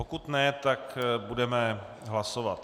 Pokud ne, tak budeme hlasovat.